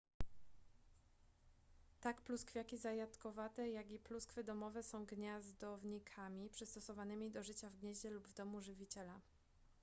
tak pluskwiaki zajadkowate jak i pluskwy domowe są gniazdownikami przystosowanymi do życia w gnieździe lub w domu żywiciela